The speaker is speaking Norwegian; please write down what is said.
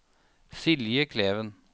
Silje Kleven